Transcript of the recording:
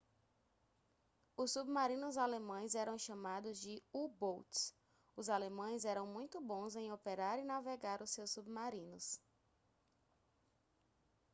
os submarinos alemães eram chamados de u-boats os alemães eram muito bons em operar e navegar os seus submarinos